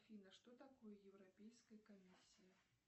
афина что такое европейская комиссия